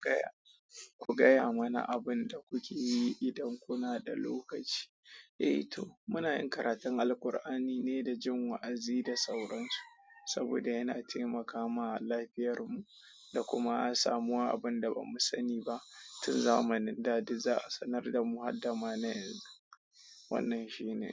Gaya, ku gaya mana abin da kuke yi idan kuna da lokaci. Eh to, muna yin karatun Alqur'ani ne da jin wa'azi da sauransu, saboda yana taimakama lafiyarmu da kuma a samuwa abun da ba mu sani ba. Tun zamanin da duk za a sanar da mu har dama na yanzu. Wannan shi ne.